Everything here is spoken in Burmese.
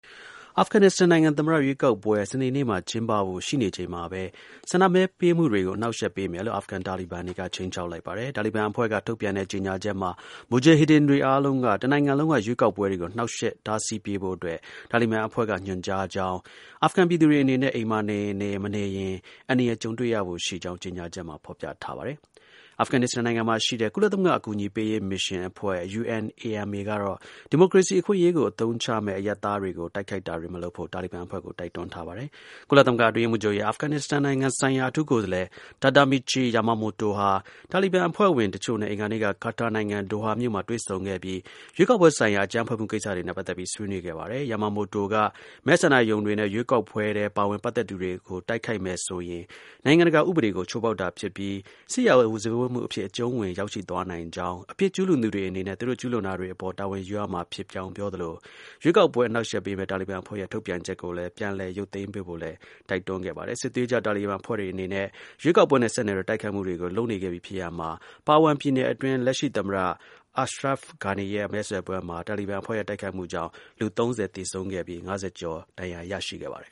အာဖဂန် နစ္စတန်နိုင်ငံ သမ္မတ ရွေးကောက်ပွဲ စနေနေ့မှာ ကျင်းပဖို့ ရှိနေချိန်မှာပဲ ဆန္ဒမဲပေးမှုတွေကို အနှောင့်အယှက်ပေးမယ်လို့ အာဖဂန် တာလီဘန်တွေက ခြိမ်းခြောက်လိုက်ပါတယ်။ တာလီဘန်အဖွဲ့က ထုတ်ပြန်တဲ့ ကြေညာချက်မှာ မူဂျာဟစ်ဒင်တွေအားလုံးက ဒီ တစ်နိုင်ငံလုံးက ရွေးကောက်ပွဲတွေကို ကာကွယ်တားဆီးပေးဖို့အတွက် တာလီဘန်အဖွဲ့က ညွှန်ကြားကြောင်း၊ အာဖဂန် ပြည်သူတွေ အနေနဲ့ အိမ်မှာ နေရင်နေ၊ မနေရင် အန္တရာယ် ကြုံတွေ့ရဖို့ ရှိကြောင်း ဖော်ပြထားပါတယ်။ အာဖဂန် နစ္စတန်နိုင်ငံမှာ ရှိတဲ့ ကုလသမဂ္ဂ အကူအညီပေးရေး မစ်ရှင်အဖွဲ့ (UNAMA) ကတော့ ဒီမိုကရေစီ အခွင့်အရေးကို အသုံးချမယ် အရပ်သားတွေ ကို တိုက်ခိုက်တာတွေ မလုပ်ဖို့ တာလီဘန်အဖွဲ့ကို တိုက်တွန်းထားပါတယ်။ ကုလသမဂ္ဂ အတွင်းရေးမှူးချုပ်ရဲ့ အာဖဂန်နစ္စတန်နိုင်ငံ ဆိုင်ရာ အထူးကိုယ်စားလှယ် Tadamichi Yamamoto ဟာ တာလီဘန် အဖွ့ဲဝင် တစ်ချို့နဲ့ အင်္ဂါနေ့က ကာတာနိုင်ငံ၊ ဒိုဟာမြို့မှာ တွေ့ဆုံခဲ့ပြီး ရွေးကောက်ပွဲဆိုင်ရာ အကြမ်းဖက်မှု ကိစ္စတွေနဲ့ ပတ်သက်ပြီး ဆွေးနွေး ခဲ့ပါတယ်။ Yamamoto က မဲဆန္ဒရုံတွေနဲ့ ရွေးကောက်ပွဲထဲ ပါဝင် ပတ်သက်သူတွေကို တိုက်ခိုက်မယ်ဆိုရင် နိုင်ငံတကာ ဥပဒေကို ချိုးဖောက်တာဖြစ်ပြီး စစ်ရာဇဝတ်မှု အဖြစ် အကျုံးဝင် ရောက်ရှိသွားနိုင်ကြောင်း၊ အပြစ် ကျူးလွန်သူတွေအနေနဲ့ သူတို့ ကျူးလွန်တာတွေ အပေါ် တာဝန်ယူရမှာ ဖြစ်ကြောင်း ပြောသလို၊ ရွေးကောက်ပွဲ အနှောက်အယှက်ပေးမယ့် တာလီဘန် အဖွဲ့ရဲ့ ထုတ်ပြန်ချက်ကို ပြန်လည် ရုပ်သိမ်းပေးဖို့လည်း တိုက်တွန်းခဲ့ပါတယ်။ စစ်သွေးကြွ တာလီဘန်အဖွဲ့အနေနဲ့ ရွေးကောက်ပွဲနဲ့ဆက်နွယ်တဲ့ တိုက်ခိုက်မှုတွေ လုပ်နေခဲ့ပြီဖြစ်ရာမှာ Parwan ပြည်နယ်အတွင်း လက်ရှိ သမ္မတ Ashraf Ghani ရဲ့ မဲဆွယ်ပွဲမှာ တာလီဘန်အဖွဲ့ရဲ့ တိုက်ခိုက်မှုကြောင့်လူ ၃၀ သေဆုံးခဲ့ပြီး ၅၀ ကျော် ဒဏ်ရာရရှိခဲ့ပါတယ်